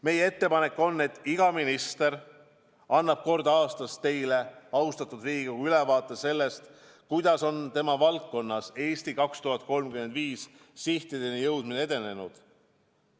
Meie ettepanek on, et iga minister annab kord aastas teile, austatud Riigikogu, ülevaate sellest, kuidas on tema valdkonnas "Eesti 2035" sihtideni jõudmine edenenud.